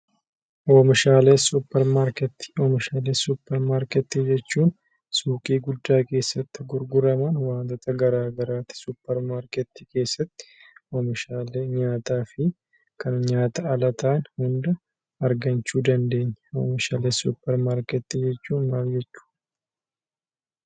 Oomishaalee suuparmarketii jechuun suuqii guddaa keessatti gurguramuu wantoota garaagaraati. Suuparmarketii keessatti nyaataa fi kan nyaataa ala ta'an hunda argachuu dandeenya. Oomishaalee suuparmarketii jechuun maal jechuudha.